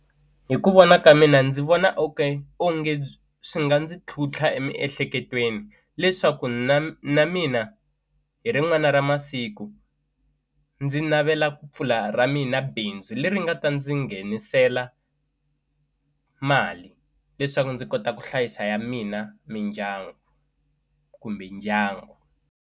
Hi ku vona ka mina ndzi vona onge swi nga ndzi tlhuntlha emiehleketweni leswaku na na mina hi rin'wana ra masiku ndzi navela ku pfula ra mina bindzu leri nga ta ndzi nghenisela mali leswaku ndzi kota ku hlayisa ya mina mindyangu kumbe ndyangu.